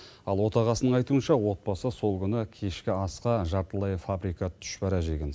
ал отағасының айтуынша отбасы сол күні кешкі асқа жартылай фабрикат тұшпара жеген